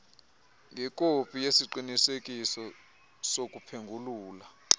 ngekopi yesiqinisekiso sokuphengulula